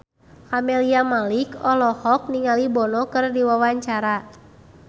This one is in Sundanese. Camelia Malik olohok ningali Bono keur diwawancara